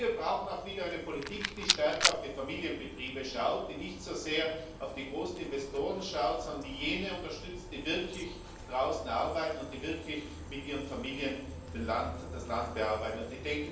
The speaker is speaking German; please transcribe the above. Wir brauchen auch wieder eine Politik, die stärker auf die Familienbetriebe schaut, die nicht so sehr auf die großen Investoren schaut, sondern die jene unterstützt, die wirklich draußen arbeiten und die wirklich mit ihren Familien das Land bearbeiteten.